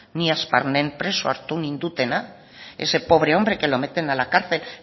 ni preso hartu nindutena ese pobre hombre que lo meten a la cárcel